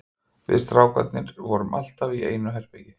Við strákarnir vorum allir í einu herbergi.